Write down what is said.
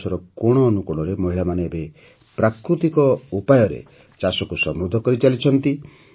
ଦେଶର କୋଣଅନୁକୋଣରେ ମହିଳାମାନେ ଏବେ ପ୍ରାକୃତିକ ଉପାୟରେ ଚାଷକୁ ସମୃଦ୍ଧ କରିଚାଲିଛନ୍ତି